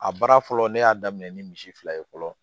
A baara fɔlɔ ne y'a daminɛ ni misi fila ye fɔlɔ